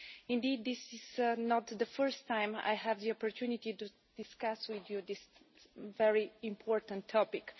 Indeed this is not the first time I had the opportunity to discuss with you this very important topic.